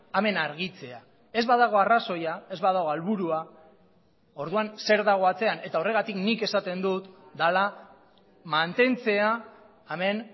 hemen argitzea ez badago arrazoia ez badago helburua orduan zer dago atzean eta horregatik nik esaten dut dela mantentzea hemen